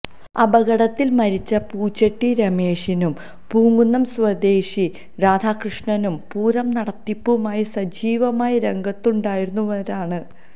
അപകടത്തിൽ മരിച്ച പൂച്ചെട്ടി രമേശനും പൂങ്കുന്നം സ്വദേശി രാധാകൃഷ്ണനും പൂരം നടത്തിപ്പുമായി സജീവമായി രംഗത്തുണ്ടായിരുന്നവരാണ്